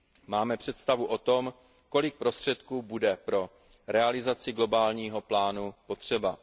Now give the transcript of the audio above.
Máme představu o tom, kolik prostředků bude pro realizaci globálního plánu potřeba.